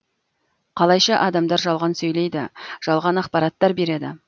қалайша адамдар жалған сөйлейді жалған ақпараттар береді